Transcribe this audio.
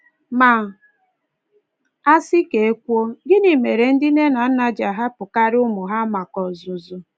Ma asị ka e kwuo, gịnị mere ndị nne na nna ji ahapụkarị ụmụ ha maka ọzụzụ?